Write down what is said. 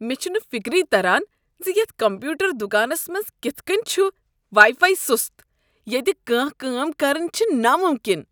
مے٘ چھُنہٕ فِكری تران زِ یتھ کمپیوٗٹر دکانس منٛز كِتھ كٕنۍ چھ وایی فایی سُست۔ ییٚتہ کانٛہہ کٲم كرٕنۍ چھےٚ نامُمکن۔